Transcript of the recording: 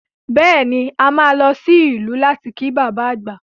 Bẹ́ẹ̀ ni, a máa lọ sí ìlú láti kí bàbá àgbà